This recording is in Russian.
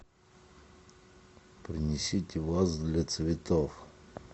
принесите вазу для цветов